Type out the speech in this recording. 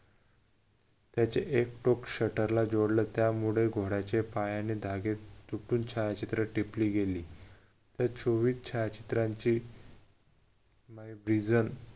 त्याचे एक टोक shutter जोडल त्यामुळे घोड्याचे पायाने धागे तुटून छायाचित्र टिपली गेली त्या चोवीस छायाचित्रांची